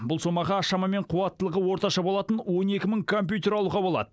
бұл сомаға шамамен қуаттылығы орташа болатын он екі мың компьютер алуға болады